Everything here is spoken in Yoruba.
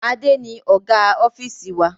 Adé ni Ọ̀gá ofiisi wa.